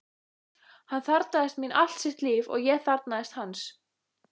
Hann þarfnaðist mín allt sitt líf, og ég þarfnaðist hans.